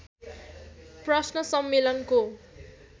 प्रश्न सम्मेलनको